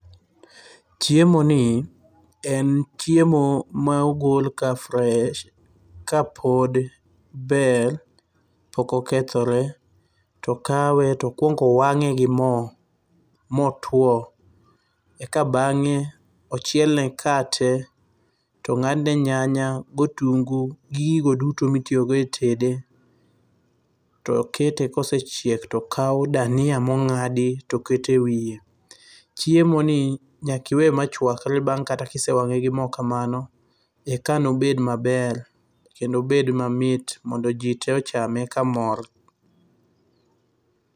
Chiemoni en chiemo ma ogol ka fresh, kapod ber pok okethore. To okawe to okuong owang'e gi mo motwo. Eka bang'e ochielne kate to ong'adne nyanya gotungu gi gigo duto mitiyogo e tede. To okete kosechiek to okaw dania mong'adi to oket ewiye. Chiemoni nyaka iwe machuakre bang' kata ka isewang'e gi mo kamano, eka nobed maber kendo obed mamit mondo ji tee ochame kamor.